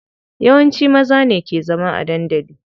Yawanci maza ne ke zama a dandali.